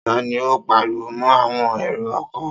Ta ni ó pariwo mọ́ àwọn èrò-ọkọ̀?